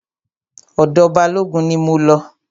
Ọ̀dọ̀ Balógun ni mo lọ.